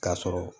K'a sɔrɔ